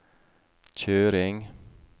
kjøring